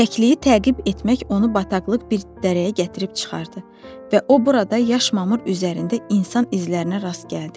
Kəkliyi təqib etmək onu bataqlıq bir dərəyə gətirib çıxardı və o burada yaş mamır üzərində insan izlərinə rast gəldi.